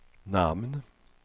namn